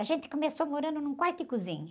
A gente começou morando num quarto e cozinha.